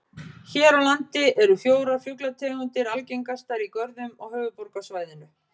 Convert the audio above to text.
Hér á landi eru fjórar fuglategundir algengastar í görðum á höfuðborgarsvæðinu.